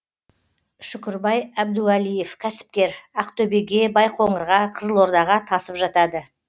шүкірбай әбдуалиев кәсіпкер ақтөбеге байқоңырға қызылордаға тасып жатады